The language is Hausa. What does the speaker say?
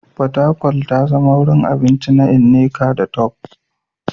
Fatakwal ta zama wurin abinci ga Nneka da Tope.